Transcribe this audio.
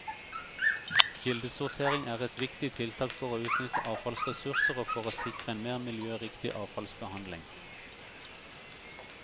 Kildesortering er et viktig tiltak for å utnytte avfallsressurser og for å sikre en mer miljøriktig avfallsbehandling.